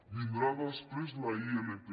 vindrà després la ilp